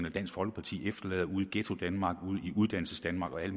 og dansk folkeparti efterlader ude i ghettodanmark ude i uddannelsesdanmark og alle